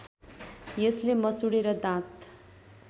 यसले मसूडे र दाँत